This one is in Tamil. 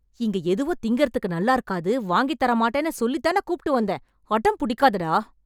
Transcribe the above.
இங்க எதுவும் திங்கறதுக்கு நல்லாருக்காது, வாங்கித் தரமாட்டேன்னு சொல்லித்தான கூப்ட்டுவந்தேன்? அடம் புடிக்காதடா.